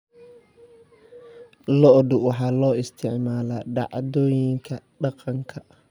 Lo'da waxaa loo isticmaalaa dhacdooyinka dhaqanka.